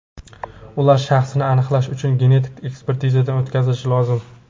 Ular shaxsini aniqlash uchun genetik ekspertizadan o‘tkazilishi lozim.